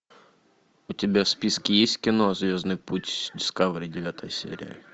у тебя в списке есть кино звездный путь дискавери девятая серия